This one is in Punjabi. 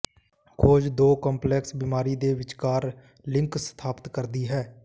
ਖੋਜ ਦੋ ਕੰਪਲੈਕਸ ਬਿਮਾਰੀ ਦੇ ਵਿਚਕਾਰ ਲਿੰਕ ਸਥਾਪਤ ਕਰਦੀ ਹੈ